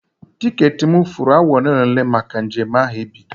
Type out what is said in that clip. Tiketị m furu awa ole na ole maka njem ahụ ibido.